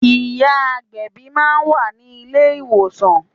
Ìyá agbẹ̀bí máa wà ní ilé ìwòsàn.